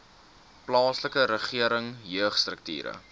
plaaslike regering jeugstrukture